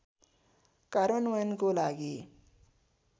कार्यान्वयनको लागि